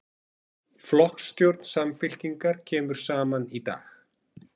Flokksstjórn Samfylkingar kemur saman í dag